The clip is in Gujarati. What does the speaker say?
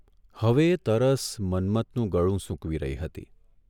' હવે તરસ મન્મથનું ગળું સૂકવી રહી હતી.